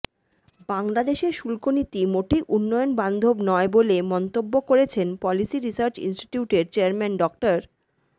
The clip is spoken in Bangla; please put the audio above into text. বাংলাদেশের শুল্কনীতি মোটেই উন্নয়নবান্ধব নয় বলে মন্তব্য করেছেন পলিসি রিসার্চ ইনস্টিটিউটের চেয়ারম্যান ড